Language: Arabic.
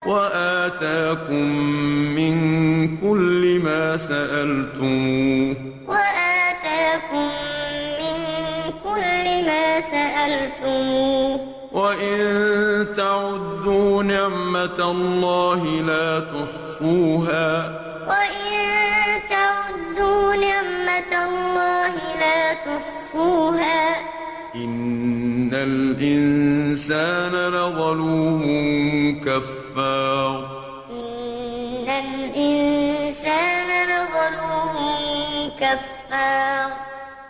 وَآتَاكُم مِّن كُلِّ مَا سَأَلْتُمُوهُ ۚ وَإِن تَعُدُّوا نِعْمَتَ اللَّهِ لَا تُحْصُوهَا ۗ إِنَّ الْإِنسَانَ لَظَلُومٌ كَفَّارٌ وَآتَاكُم مِّن كُلِّ مَا سَأَلْتُمُوهُ ۚ وَإِن تَعُدُّوا نِعْمَتَ اللَّهِ لَا تُحْصُوهَا ۗ إِنَّ الْإِنسَانَ لَظَلُومٌ كَفَّارٌ